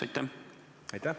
Aitäh!